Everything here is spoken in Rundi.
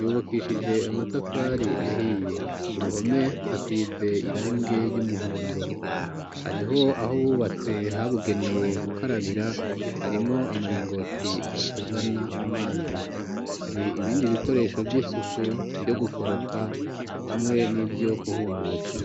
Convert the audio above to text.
yubakishije amatafari ahiye ku ruhome hasize irange ry'umuhondo ariho aho bubatse habugenewe gukarabira harimwo amaringoti azana amazi hari ibindi bikoresho by'isuku byo gukoropa hamwe n'ibyo kuhumutsa